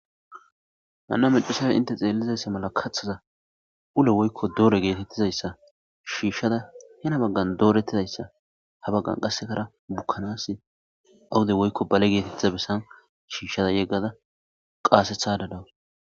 Hanna maccasiya hintte xeelizayssa mala kathaza ulo woykko dooro geetettidayssa shiishada Hina baggan doorettidayssa ha baggan qassekara bukkanassi awde woykko bale geetettida bessani shiishada yeggada qaasethaada daws.